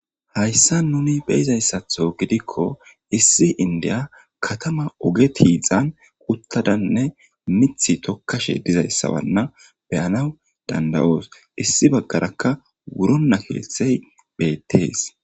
hayssan nuni beyizayssatho gidikko issi indiya katama oge tiizan uttadanne mithi tokkashe dizayssawanna beyanaw danda7oos issi baggarakka wuronna keeththey beettees